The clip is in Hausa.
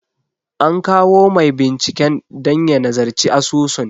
An kawo mai binciken dan ya nazarci asusun.